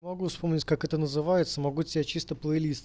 могу вспомнить как это называется могу те чисто плей лист